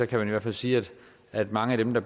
kan man i hvert fald sige at mange af dem der